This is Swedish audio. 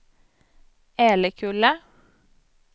Älekulla